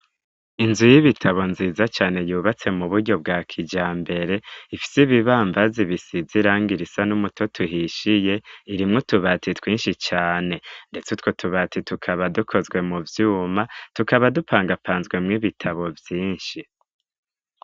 Inzu y'ibitabo nziza cane yubatse mu buryo bwa kija mbere ifyi bibambazi bisizirang iraisa n'umuto tuhishiye irimwo tubati twinshi cane, ndetse utwo tubati tukaba dukozwe mu vyuma tukaba dupangapanzwemwo ibitabo vyinshi.